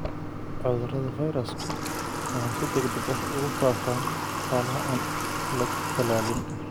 Cudurrada fayrasku waxay si degdeg ah ugu faafaan xoolaha aan la tallaalin.